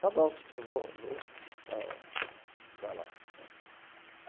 Está bom, eu vou vou para para lá, né.